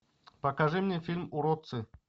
покажи мне фильм уродцы